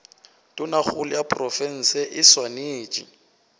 tonakgolo ya profense e swanetše